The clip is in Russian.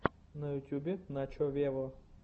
на ютубе начо вево